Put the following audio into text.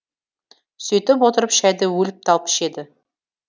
сөйтіп отырып шәйді өліп талып ішеді